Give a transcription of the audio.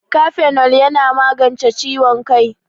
Kafenol yana magance ciwon kai